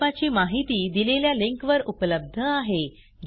प्रकल्पाची माहिती दिलेल्या लिंकवर उपलब्ध आहे